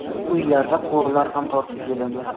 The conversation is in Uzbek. Uylardan quvurlar ham tortib kelindi.